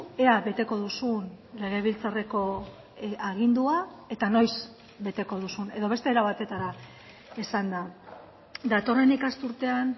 ea beteko duzun legebiltzarreko agindua eta noiz beteko duzun edo beste era batetara esanda datorren ikasturtean